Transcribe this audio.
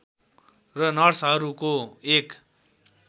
र नर्सहरूको एक